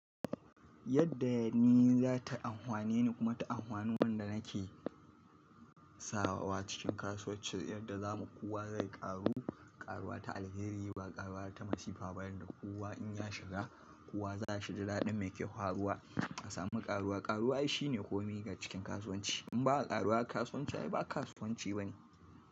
Yadda ni za ta amfane ni kuma ta amfana wanda nake sawa cikin kasuwancin yadda zamu kuwa zai karu, karuwa ta alheri ba karuwa ta masifa ba yadda kuwa in ya shiga kuwa za shi da daɗin mai ke faruwa a sami karuwa. Karuwa shine komai ga cikin kasuwanci. In ba a karuwa kasuwanci ai ba kasuwanci bane.